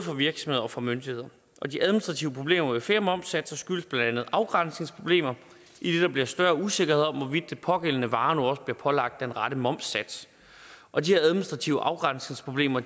virksomheder og for myndigheder og de administrative problemer med flere momssatser skyldes blandt andet afgrænsningsproblemer idet der bliver større usikkerhed om hvorvidt den pågældende vare nu også bliver pålagt den rette momssats og de administrative afgrænsningsproblemer